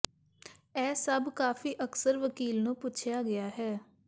ਇਹ ਸਭ ਕਾਫ਼ੀ ਅਕਸਰ ਵਕੀਲ ਨੂੰ ਪੁੱਛਿਆ ਗਿਆ ਹੈ